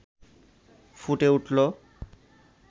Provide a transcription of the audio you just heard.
ফুটে উঠল